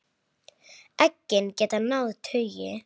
Eggin geta náð tugi.